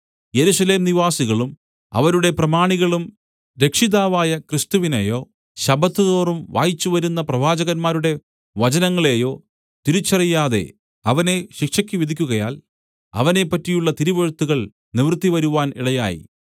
യെരൂശലേം നിവാസികളും അവരുടെ പ്രമാണികളും രക്ഷിതാവായ ക്രിസ്തുവിനെയോ ശബ്ബത്തുതോറും വായിച്ചുവരുന്ന പ്രവാചകന്മാരുടെ വചനങ്ങളെയോ തിരിച്ചറിയാതെ അവനെ ശിക്ഷയ്ക്ക് വിധിക്കുകയാൽ അവനെ പറ്റിയുള്ള തിരുവെഴുത്തുകൾ നിവൃത്തിവരുത്തുവാൻ ഇടയായി